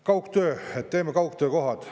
Kaugtöö: et teeme kaugtöökohad.